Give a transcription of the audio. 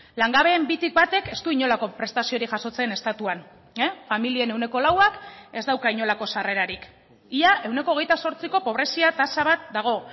langabeen bitik batek ez du inolako prestaziorik jasotzen estatuan familien ehuneko lauak ez dauka inolako sarrerarik ia ehuneko hogeita zortziko pobrezia tasa bat dago